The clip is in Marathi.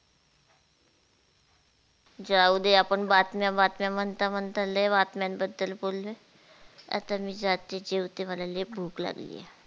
जाऊ दे आपण बातम्या बातम्या म्हणता म्हणता लय बातम्यान बद्दल बोललोय आता मी जाते जेवते मला लय भूक लागली.